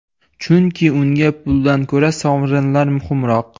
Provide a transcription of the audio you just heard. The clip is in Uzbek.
Chunki unga puldan ko‘ra sovrinlar muhimroq.